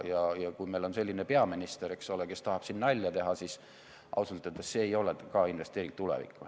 Ja kui meil on selline peaminister, kes tahab siin nalja teha, siis ausalt öeldes ei ole see ka investeering tulevikku.